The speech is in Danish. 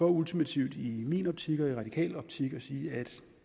ultimativt i min optik og i radikales optik at sige at